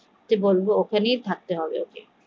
ওখানেই থাকতে হবে ওকে